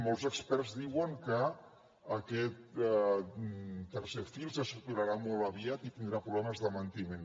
molts experts diuen que aquest tercer fil se saturarà molt aviat i tindrà problemes de manteniment